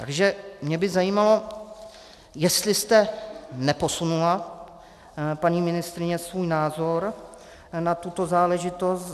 Takže mě by zajímalo, jestli jste neposunula, paní ministryně, svůj názor na tuto záležitost.